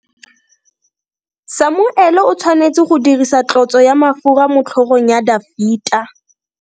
Samuele o tshwanetse go dirisa tlotso ya mafura motlhogong ya Dafita.